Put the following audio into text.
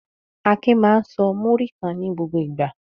Akin máa ń sọ múrí kan ní gbogbo ìgbà.